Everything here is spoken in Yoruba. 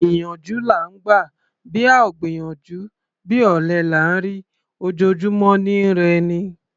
Ìyànjú là ńgbà; bá ò gbìyànjú, bí ọ̀lẹ là ńrí; ojojúmọ́ ni í rẹ'ni.